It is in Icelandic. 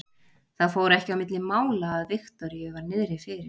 Það fór ekki á milli mála að Viktoríu var niðri fyrir.